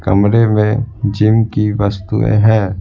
कमरे में जिम की वस्तुएं हैं।